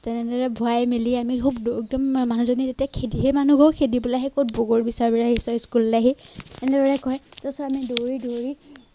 যেনে তেনে ভৰাই মেলি আমি খুব দৌৰো একদম মানুহজনী যেতিয়া খেদি সেই মানুহ ঘৰো খেলিবলৈ আহে কত বগৰী বিচাৰিবলৈ আহিছ school লে আহি এনেদৰে কয় তাৰ পিছত আমি দৌৰি দৌৰি